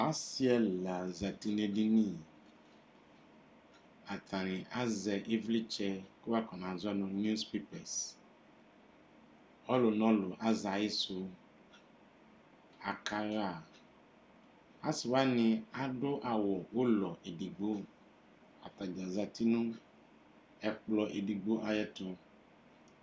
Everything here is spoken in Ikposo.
Asi ɛla zati nʋ edini atani azɛ ivlitsɛ kʋ wakɔnazɔ nʋ niws pepɛs ɔlʋ nʋ ɔlʋ azɛ ayisʋ akaxa asi wani adʋ awʋ ʋlɔ edigbo kʋ atadza zati nʋ ɛkplɔ edigbo ayʋ ɛtʋ